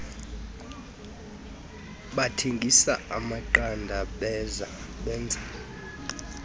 bathengisa amaqanda benza